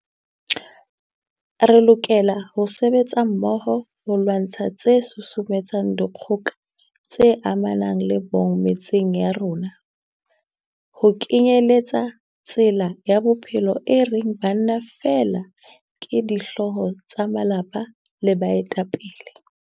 Re lokela ho sebetsa mmoho ho lwantsha tse susumetsang dikgoka tse amanang le bong metseng ya rona, ho kenyeletsa tsela ya bophelo e reng banna feela ke dihlooho tsa malapa le baetapele.